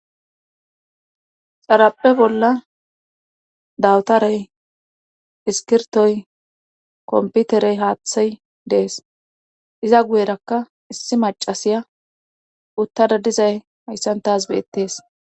xarapphe bolla dawutarey iskirtoy komputerey haaththay dees iza guyerakka issi macasiya uttada dizay hayssantas beettees